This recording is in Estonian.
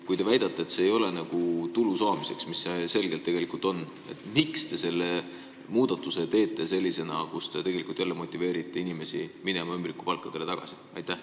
Kui te väidate, et see ei ole mõeldud tulu saamiseks, kuigi selgelt tegelikult on, siis miks te teete selle muudatuse, millega te tegelikult jälle motiveerite inimesi ümbrikupalga juurde tagasi minema?